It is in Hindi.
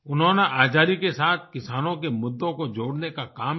उन्होंने आजादी के साथ किसानों के मुद्दों को जोड़ने का काम किया